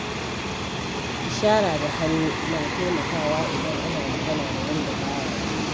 Ishara da hannu na taimakawa idan ana magana da wanda ba ya ji.